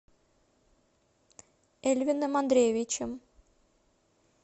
эльвином андреевичем